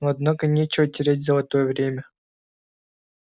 ну однако нечего терять золотое время